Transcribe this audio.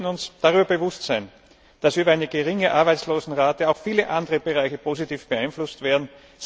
Wir sollten uns dessen bewusst sein, dass über eine geringe Arbeitslosenquote auch viele andere Bereiche positiv beeinflusst werden.